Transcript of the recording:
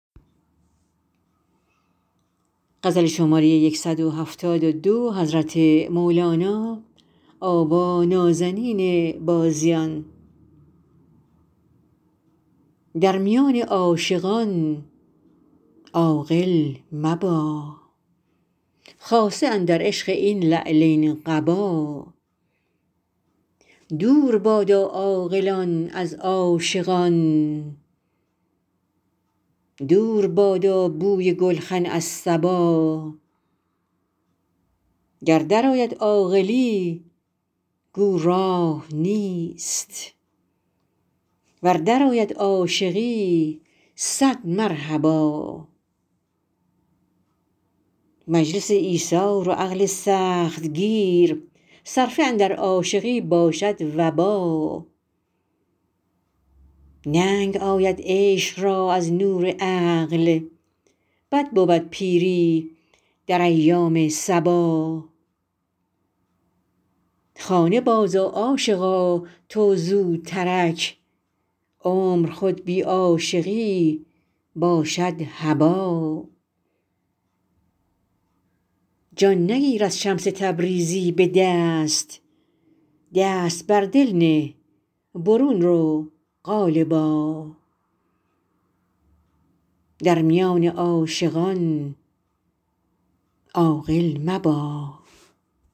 در میان عاشقان عاقل مبا خاصه اندر عشق این لعلین قبا دور بادا عاقلان از عاشقان دور بادا بوی گلخن از صبا گر درآید عاقلی گو راه نیست ور درآید عاشقی صد مرحبا مجلس ایثار و عقل سخت گیر صرفه اندر عاشقی باشد وبا ننگ آید عشق را از نور عقل بد بود پیری در ایام صبا خانه بازآ عاشقا تو زوترک عمر خود بی عاشقی باشد هبا جان نگیرد شمس تبریزی به دست دست بر دل نه برون رو قالبا